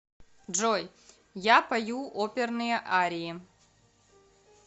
джой я пою оперные арии